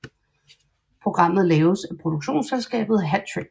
Programmet laves af produktionsselskabet Hat Trick